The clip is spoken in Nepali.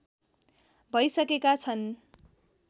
भइसकेका छन्